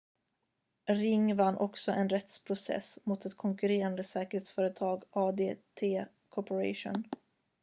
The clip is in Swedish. ring vann också en rättsprocess mot ett konkurrerande säkerhetsföretag adt corporation